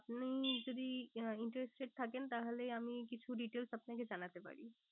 আপনি যদি interested থাকেন তাহলে আমি কিছু details আপনাকে জানাতে পারি।